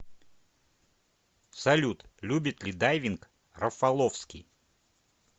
салют любит ли дайвинг рафаловский